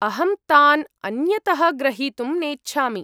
अहं तान् अन्यतः ग्रहीतुं नेच्छामि।